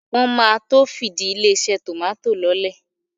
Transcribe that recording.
Wọ́n máa to fìdí ilé-iṣẹ́ tòmátò lọ́lẹ̀.